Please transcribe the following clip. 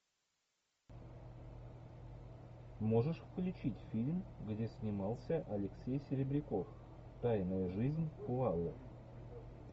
можешь включить фильм где снимался алексей серебряков тайная жизнь коалы